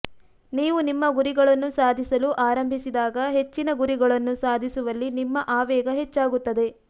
ನೀವು ನಿಮ್ಮ ಗುರಿಗಳನ್ನು ಸಾಧಿಸಲು ಆರಂಭಿಸಿದಾಗ ಹೆಚ್ಚಿನ ಗುರಿಗಳನ್ನು ಸಾಧಿಸುವಲ್ಲಿ ನಿಮ್ಮ ಆವೇಗ ಹೆಚ್ಚಾಗುತ್ತದೆ